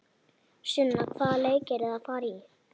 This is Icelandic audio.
Sunna: Hvaða leiki eruð þið að fara í?